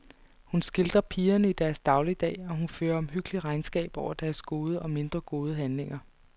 Hun skildrer pigerne i deres dagligdag, og hun fører omhyggeligt regnskab over deres gode og mindre gode handlinger.